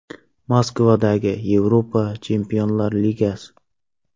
Moskvadagi Yevropa Chempionlar Ligasi.